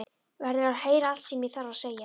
Verður að heyra allt sem ég þarf að segja.